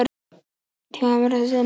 Tíma má sjá sem margt í senn.